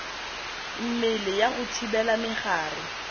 mmele ya go thibela megare